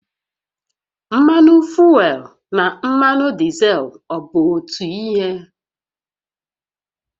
Mmanụ fuel na mmanụ dizel bụ otu ihe?